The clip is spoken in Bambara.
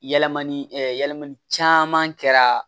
Yɛlɛmali yɛlɛmali caman kɛra